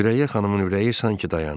Sürəyyə xanımın ürəyi sanki dayandı.